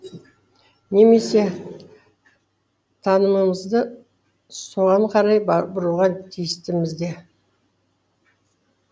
немесе танымымызды соған қарай бұруға тиістіміз де